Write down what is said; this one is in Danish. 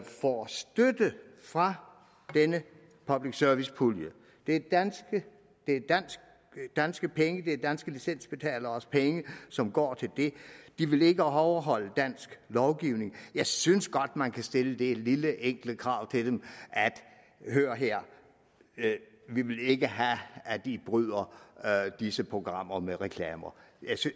får støtte fra denne public service pulje det er danske danske penge det er danske licensbetaleres penge som går til det de ville ikke overholde dansk lovgivning jeg synes godt man kan stille det lille enkle krav til dem og sige hør her vi vil ikke have at i bryder disse programmer med reklamer